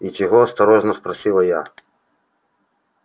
и чего осторожно спросила я